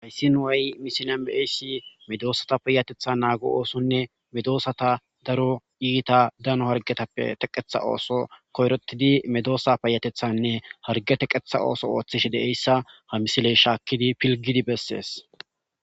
hayssin way misila be7eyssi medoosata payatetha naago oosonne medoosata daro iita dano hargetappe teqetha ooso koyrotidi medoosa payatethanne harge teqetha ooso ooththish deeyssa ha misiley shaakkidi pilgidi bessees